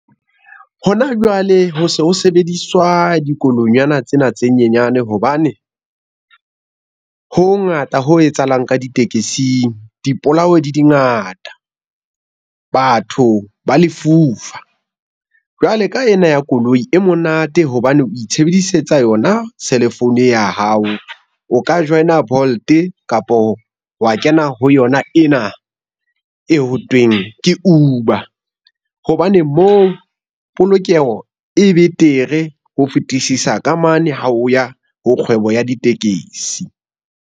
Hona jwale ho se ho sebediswa dikoloinyana tsena tse nyenyane hobane ho ho ngata ho etsahalang ka ditekesing dipolao di ngata batho ba lefufa jwale ka ena ya koloi e monate hobane o itshebedisetsa yona cell phone e ya hao o ka join-a Bolt kapo wa kena ho yona ena hothweng ke Uber hobane moo polokeho e betere ho fetisisa ka mane ha o ya ho kgwebo ya ditekesi?